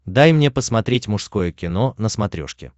дай мне посмотреть мужское кино на смотрешке